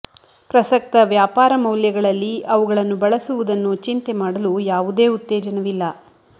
ಪ್ರಸಕ್ತ ವ್ಯಾಪಾರ ಮೌಲ್ಯಗಳಲ್ಲಿ ಅವುಗಳನ್ನು ಬಳಸುವುದನ್ನು ಚಿಂತೆ ಮಾಡಲು ಯಾವುದೇ ಉತ್ತೇಜನವಿಲ್ಲ